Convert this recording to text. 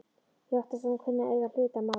Ég óttast að hún kunni að eiga hlut að máli.